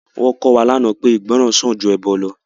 Wọn kọ́ wa lánàá pé ìgbọràn sàn ju ẹbọ lọ